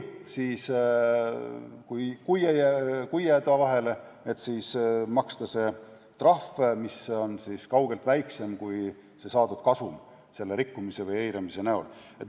Kui jäädaksegi vahele, siis makstakse ära trahv, mis on kaugelt väiksem kui saadud kasum selle rikkumise või eiramise eest.